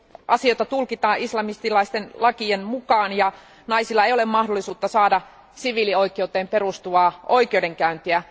Asioita tulkitaan islamististen lakien mukaan ja naisilla ei ole mahdollisuutta saada siviilioikeuteen perustuvaa oikeudenkäyntiä.